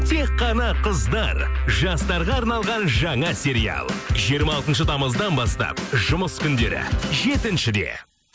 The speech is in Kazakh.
тек қана қыздар жастарға арналған жаңа сериал жиырма алтыншы тамыздан бастан жұмыс күндері жетіншіде